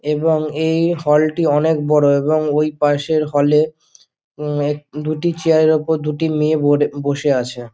এবং এই হাল -টি অনেক বড়ো এবং ঐপাশ হল -এর দুইটি চেয়ার -এর উপর দুটি মেয়ে বসে আছে ।